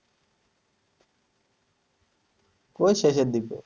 কোই শেষের দিকে?